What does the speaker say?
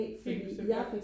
helt bestemt ja